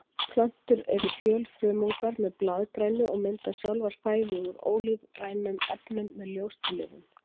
Plöntur eru fjölfrumungar með blaðgrænu og mynda sjálfar fæðu úr ólífrænum efnum með ljóstillífun.